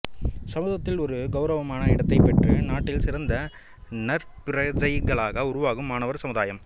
சமூகத்தில் ஒரு கெளரவமான இடத்தைப்பெற்று நாட்டில் சிறந்த நற்பிரஜைகளாக உருவாகும் மாணவர் சமுதாயம்